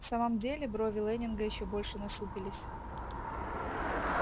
в самом деле брови лэннинга ещё больше насупились